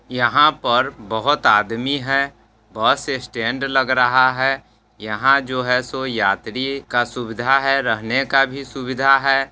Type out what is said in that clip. यहाँ पर बहुत आदमी है बस स्टैंड लग रहा है यहाँ जो है सो यात्री का सुविधा है रहने का भी सुविधा है।